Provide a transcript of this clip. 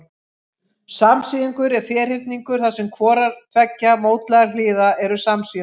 Samsíðungur er ferhyrningur þar sem hvorar tveggja mótlægra hliða eru samsíða.